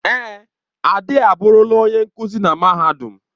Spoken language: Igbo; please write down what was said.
Èè, Ade aburula onye nkuzi na mahadum.